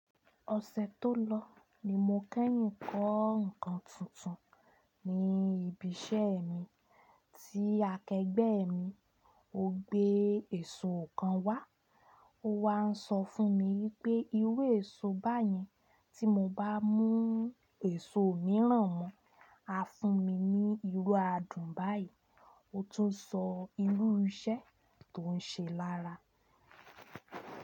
Ọ̀sẹ̀ tó lọ ni mo kẹ́yìn kọ́ ǹkan tuntun ni ibi iṣẹ́ mi, ti akẹgbẹ́ mi o gbé èso kan wá, ó wá ń sọ fún mi pé irú èso báyẹn tí mo bá mú èso mìíràn mọ́, á fún mi ní irú adùn báyìí, ó tún sọ irú iṣẹ́ tó ń ṣe lára.